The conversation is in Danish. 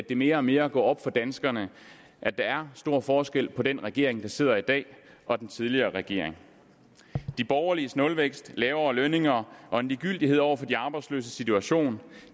det mere og mere går op for danskerne at der er stor forskel på den regering der sidder i dag og den tidligere regering de borgerliges nulvækst lavere lønninger og en ligegyldighed over for de arbejdsløses situation